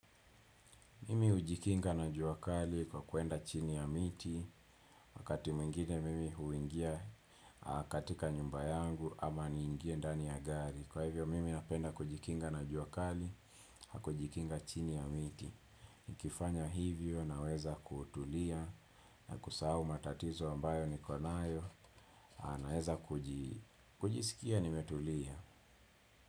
Mimi hujikinga na jua kali kwa kuenda chini ya miti. Wakati mwingine mimi huingia katika nyumba yangu ama niingie ndani ya gari, kwa hivyo mimi napenda kujikinga na juakali, kwa kujikinga chini ya miti. Nikifanya hivyo naweza kutulia, na kusahau matatizo ambayo niko nayo, naweza kujisikia nimetulia.